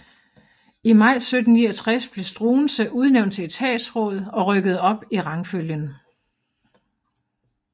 I maj 1769 blev Struensee udnævnt til etatsråd og rykkede op i rangfølgen